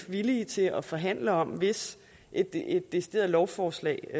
villige til at forhandle om hvis et decideret lovforslag